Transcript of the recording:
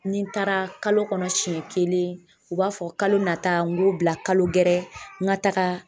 Ni n taara kalo kɔnɔ siɲɛ kelen u b'a fɔ kalo nata n g'o bila kalo gɛrɛ n ka taga